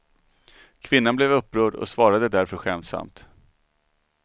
Kvinnan blev upprörd och svarade därför skämtsamt.